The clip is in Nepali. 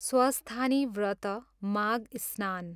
स्वस्थानी व्रत, माघ स्नान